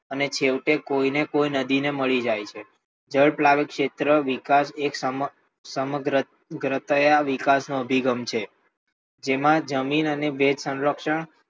અને છેવટે કોઈને કોઈ નદી મળી જાય છે જળ ઉપલાદિત ક્ષેત્ર વિકાસ એક સમગ્ર ઘટયા વિકાસનો અભિગમ છે જેમાં જમીન અને વેદ સંરક્ષણ